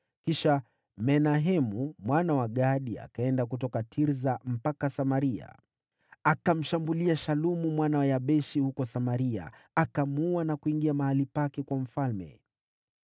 Kisha Menahemu mwana wa Gadi akaenda kutoka Tirsa mpaka Samaria. Akamshambulia Shalumu mwana wa Yabeshi huko Samaria, akamuua na kuingia mahali pake kuwa mfalme.